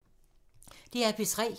DR P3